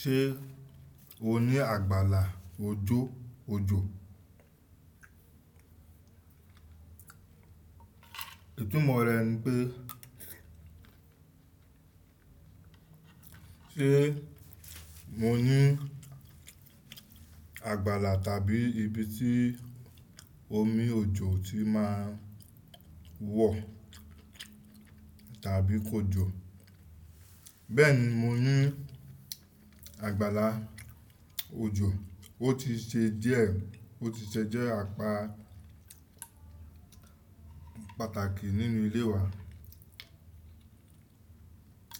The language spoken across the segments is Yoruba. Ṣé o ní àgbàlá ojó ojo? Ìtumọ̀ rẹ̀ ńi pe sé mo ní àgbàlá tàbí ibi tí omi ojo ti máa ń wọ̀ tàbí kójo. Bẹ́ẹ̀ni, mo ní àgbàlá ojò. Ó ti ṣe díẹ̀, ó ti ṣe jẹ́ apá pàtàkì nínú ilé wa.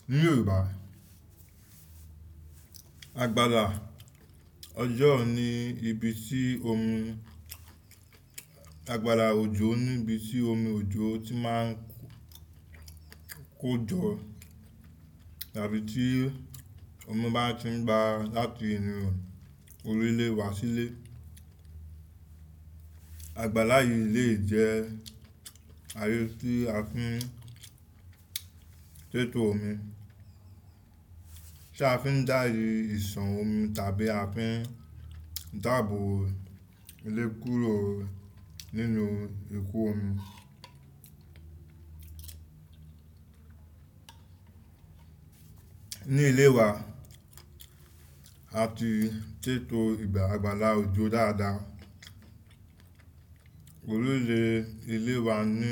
Ní Yorùbá, àgbàlá ọjọ́ ni ibi tí omi, àgbàlá òjò ni ibi tí omi òjò ti máa ń kó jọ tàbí tí omi bá ti ń gbá láti inú orí ilé wá sílé. Àgbàlá yìí lè jẹ́ ààyè tí a fi ń tètò omi, tí a fi ń dá ìyì ìsàn omi tàbí a fi ń dààbò ilé kúrò nínú ikú omi. Ní ilé wa, a ti sètò àgbàlá òjò dáadáa. Orí ilé ilé wa ní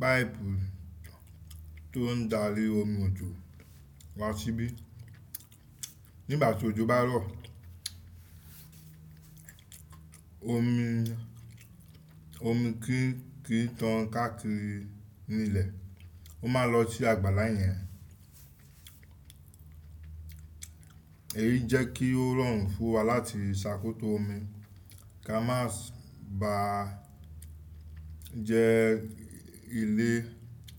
páìpù tó ń darí omi òjò wá síbí. Nígbà tí òjò bá rọ̀, omi, omi kí-kí tán káàkiri nílẹ̀, ó máa lọ sí àgbàlá yẹn. Èyí jẹ́ kí ó rọrùn fún wa láti ṣàkóso omi kí a má sì ba jẹ́ ilé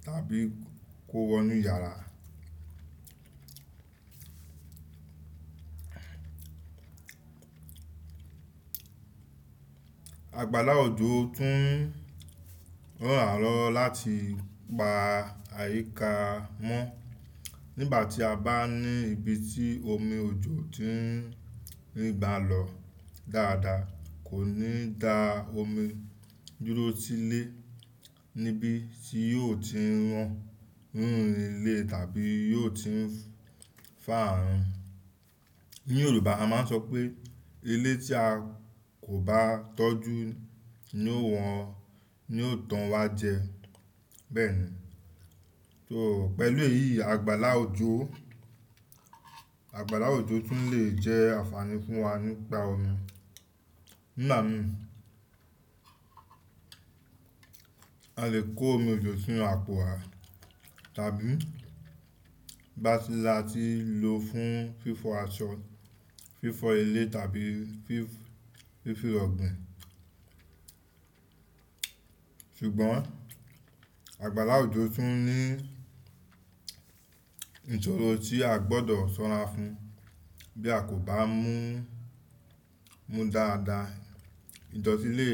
tàbí kó wọnú yàrá. Àgbàlá òjò tún ran wa loeo láti pa àyíká mọ́. Nígbà tí a bá ní ibi tí omi òjò ti ń bà lọ dáadáa, kò ní dá omi dúró sílé níbi tí yóò ti ń rán rún ilé tàbí yóò ti ń fà á run. Ní Yorùbá a máa ń sọ pé ilé tí a kò bá tọ́jú ni ó wọn, ni ó tàn wá jẹ. Bẹ́ẹ̀ni, so pẹ̀lú èyí àgbàlá òjò, àgbàlá òjò tún lè jẹ́ àǹfààní fún wa nípa omi. Nígbà mìíràn, a lè kó omi òjò sínú àpò wa tàbí bá ti lọ á ti lò fún fífọ aṣọ, fífọ ilé tàbí fí-fífọ ọ̀gbìn. Ṣùgbọ́n àgbàlá òjò tún ní ìṣòro tí a gbọ́dọ̀ ṣọ́ra fún. Bí a kò bá mú, mú dáadáa, ìdọ̀tí lè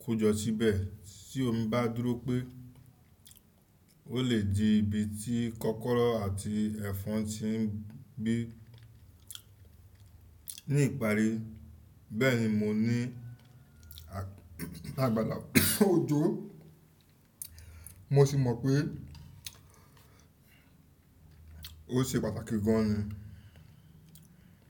kó jọ síbẹ̀. Sí omí bá dúró pé ó lè di ibi tí kọ́kọ́rọ́ àti ẹ̀fọn ti ń gbé. Ní ìparí bẹ́ẹ̀ni mo ní àgbàlá òjò. Mo sì mọ̀ pé ó ṣe pàtàkì gan ni.